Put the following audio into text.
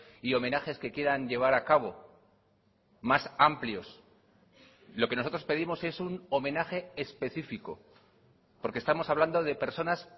y homenajes que quieran llevar a cabo más amplios lo que nosotros pedimos es un homenaje específico porque estamos hablando de personas